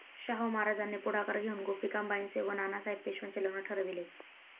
शाहू महाराजांनी पुढाकार घेऊन गोपिकाबाईंचे व नानासाहेब पेशव्यांचे लग्न ठरविले